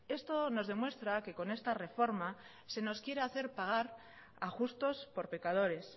esto nos demuestra que con esta reforma se nos quiere hacer pagar a justos por pecadores